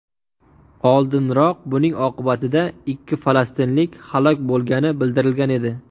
Oldinroq buning oqibatida ikki falastinlik halok bo‘lgani bildirilgan edi .